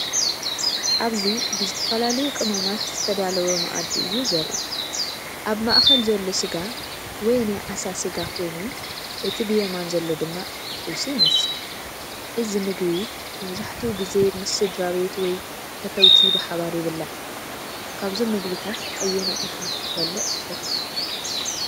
ኣብዚ ብዝተፈላለዩ ቅመማት ዝተዳለወ መኣዲ እዩ ዘርኢ። ኣብ ማእከል ዘሎ ስጋ ወይ ናይ ዓሳ ሰጋ ኮይኑ፡ እቲ ብየማን ዘሎ ድማ ጥብሲ ይመስል። እዚ ምግቢ መብዛሕትኡ ግዜ ምስ ስድራቤት ወይ ፈተውቲ ብሓባር ይብላዕ። ካብዞም ምግብታት ኣየናይ ኢኻ ክትበልዕ ትፈቱ?